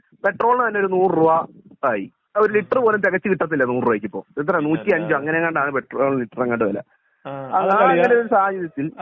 പെട്രോളിന് തന്നെ ഒരു നൂറു രൂപ ആയി ഒരു ലിറ്റർ പോലും തികച്ചു കിട്ടാതില്ല നൂറു രൂപക്ക് ഇപ്പൊ എത്രെ നൂറ്റി അഞ്ചോ അങ്ങിനെ എങ്ങാണ്ട് ആണ് പെട്രോൾ ലിറ്ററിന് എങ്ങാണ്ട് വെല സാഹചര്യത്തിൽ